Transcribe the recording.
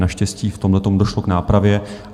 Naštěstí v tomhletom došlo k nápravě.